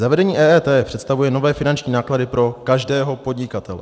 Zavedení EET představuje nové finanční náklady pro každého podnikatele.